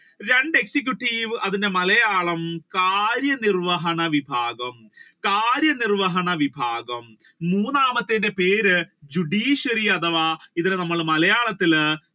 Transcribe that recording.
രണ്ടു executive അതിന്റെ മലയാളം കാര്യ നിർവഹണ വിഭാഗം കാര്യ നിർവഹണ വിഭാഗം മൂന്നാമത്തത്തിന്റെ പേര് judiciary അഥവാ ഇതിനെ നമ്മൾ മലയാളത്തിൽ